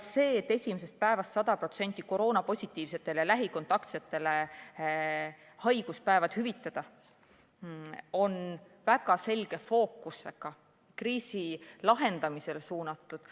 See, et esimesest päevast hüvitada koroonapositiivsetele ja lähikontaktsetele haiguspäevad 100% ulatuses, on väga selge fookusega ja kriisi lahendamisele suunatud.